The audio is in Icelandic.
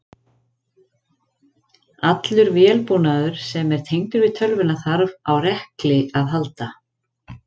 Allur vélbúnaður sem er tengdur við tölvuna þarf á rekli að halda.